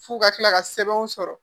F'u ka kila ka sɛbɛnw sɔrɔ